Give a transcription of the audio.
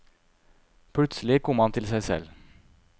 Plutselig kom han til seg selv.